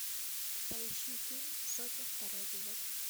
поищи фильм сотня второй эпизод